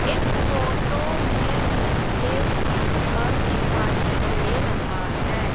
इस फोटो में मुझे घर दिखाई दे रहा है।